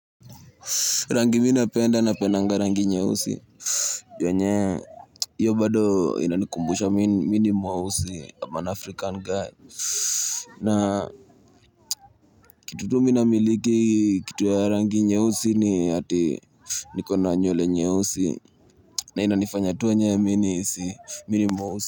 Rangi minapenda na pendanga rangi nyeusi. Yenye, hiyo bado ina nkumbusha mini mweusi, kama an African guy. Na, kitutu minamiliki kitu ya rangi nye usi ni hati, nikona nywele nyeusi. Na ina nifanya tunyewe mini si, mini mweusi.